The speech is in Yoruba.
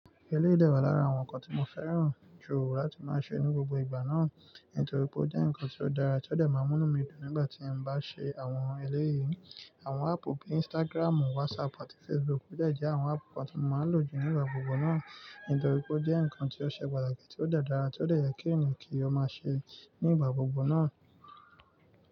Eléyè dẹ wà lára àwọn nǹkan tí mo féràn jù láti máa ṣe ní gbogbo ìgbà náà, nítorí pé ó jẹ́ nǹkan tí ó dára tí ó dẹ̀ máa mú inu mí dùn nígbà tí mo bá ṣe àwọn eléyìí. Àwọn áàpù bíi Instagramu, WhatsApp àti Facebook de jẹ́ àwọn áàpù tí mo máa lò jù nígbà gbogbo náà, nítorí pé ó jẹ́ nǹkan tí ó ṣe pàtàkì, tí ó dára tí ó dẹ̀ yẹ kí èèyàn kí ó máa ṣe nígbà gbogbo náà.